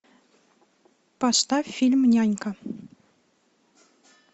поставь фильм нянька